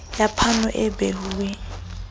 ya phano e behuweng e